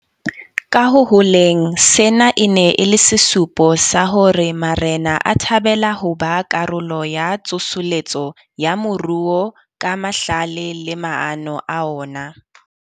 Ka ho holeng, sena e ne e le sesupo sa hore marena a thabela ho ba karolo ya tsoseletso ya moruo ka mahlale le maano a ona.